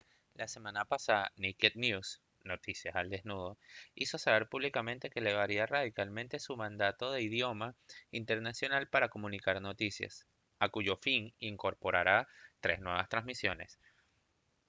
la semana pasada naked news noticias al desnudo hizo saber públicamente que elevaría radicalmente su mandato de idioma internacional para comunicar noticias a cuyo fin incorporará tres nuevas transmisiones